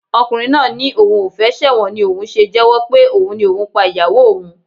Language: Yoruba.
Ọkùnrin náà ni òun ò fẹ́ ṣẹ̀wọ̀n ni òun ò ṣe jẹ́wọ́ pé òun ni òun pa ìyàwó òun